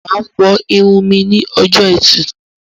Máa fọ irun mí ní ọjọ ẹtì